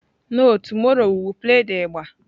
No, tomorrow we will play the igba.